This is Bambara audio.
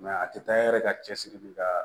a tɛ taa yɛrɛ ka cɛsiri bi ka